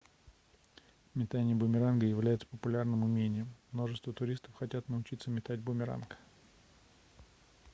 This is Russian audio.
метание бумеранга является популярным умением множество туристов хотят научиться метать бумеранг